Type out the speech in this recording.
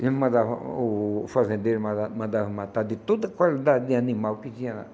Eles mandavam... O fazendeiro mandava mandava matar de toda qualidade animal que tinha lá.